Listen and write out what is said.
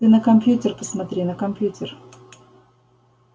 ты на компьютер посмотри на компьютер